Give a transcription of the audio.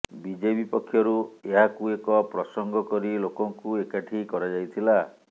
BJP ପକ୍ଷରୁ ଏହାକୁ ଏକ ପ୍ରସଙ୍ଗ କରି ଲୋକଙ୍କୁ ଏକାଠି କରାଯାଇଥିଲା